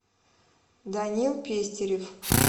данил пестерев